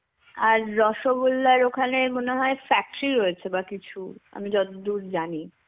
আর রসগোল্লার ওখানে মনে হয় factory রয়েছে বাহঃ কিছু. আমি যতদূর জানি.